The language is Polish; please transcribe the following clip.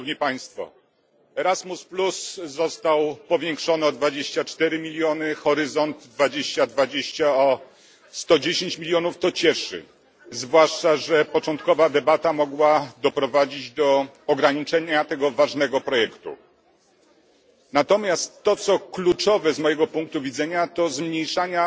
Budżet programu Erasmus został powiększony o 24 mln EUR, Horyzont 2020 o 110 mln EUR. To cieszy, zwłaszcza że początkowa debata mogła doprowadzić do ograniczenia tego ważnego projektu. Natomiast to, co kluczowe z mojego punktu widzenia to zmniejszenie